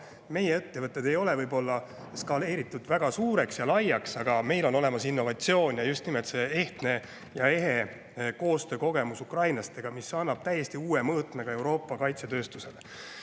Meie ettevõtted ei ole võib-olla skaleeritud väga suureks ja laiaks, aga meil on innovatsiooni ja just nimelt ehtne ja ehe koostöökogemus ukrainlastega, mis annab täiesti uue mõõtme ka Euroopa kaitsetööstusele.